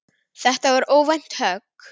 Þetta var óvænt högg.